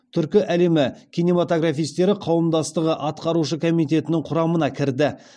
түркі әлемі кинематографистері қауымдастығы атқарушы комитетінің құрамына кірді